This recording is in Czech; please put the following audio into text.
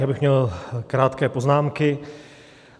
Já bych měl krátké poznámky.